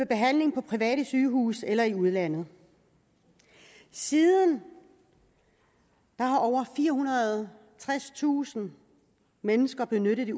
behandling på private sygehuse eller i udlandet siden har over firehundrede og tredstusind mennesker benyttet det